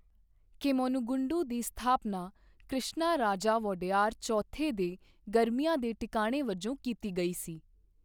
ਕੇਮੰਨੂਗੁੰਡੀ ਦੀ ਸਥਾਪਨਾ ਕ੍ਰਿਸ਼ਨਾਰਾਜਾ ਵੋਡੇਯਾਰ ਚੌਥੇ ਦੇ ਗਰਮੀਆਂ ਦੇ ਟਿਕਾਣੇ ਵਜੋਂ ਕੀਤੀ ਗਈ ਸੀ।